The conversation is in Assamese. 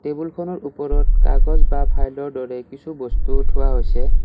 টেবুলখনৰ ওপৰত কাগজ বা ফাইলৰ দৰে কিছু বস্তু থোৱা হৈছে।